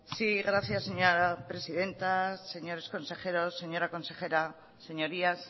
sí gracias señora presidenta señores consejeros señora consejera señorías